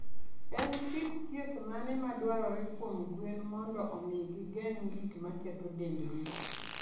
En kit thieth mane madwarore kuom gwen mondo omi gigeng' gik maketho dendgi?